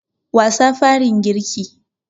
Wasa farin girki.